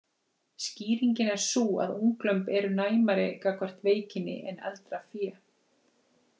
Skýringin er sú að unglömb eru næmari gagnvart veikinni en eldra fé.